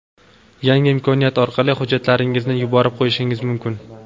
Yangi imkoniyat orqali hujjatlaringizni yuborib qo‘yishingiz mumkin.